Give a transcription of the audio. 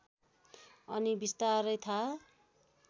अनि विस्तारै थाहा